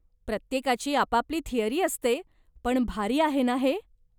प्रत्येकाची आपापली थियरी असते पण भारी आहे ना हे?